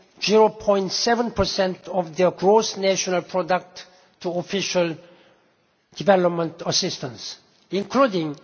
0.7 of their gross national product to Official Development Assistance, including